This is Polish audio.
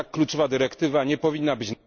Tak kluczowa dyrektywa nie powinna być